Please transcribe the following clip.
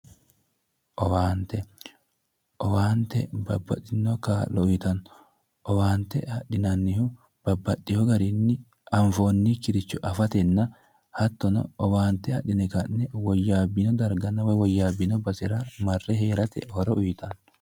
Owaante owaante babbaxitinno kaa'lo uyitanno owaante adhinannihu babbaxinoricho anfoonnkiricho afatenanna hattono owaante adhine ka'ne woyyabn